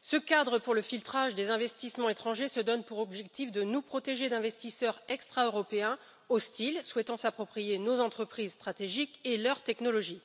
ce cadre pour le filtrage des investissements étrangers se donne pour objectif de nous protéger d'investisseurs extra européens, hostiles, souhaitant s'approprier nos entreprises stratégiques et leur technologie.